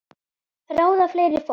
Ráða fleira fólk.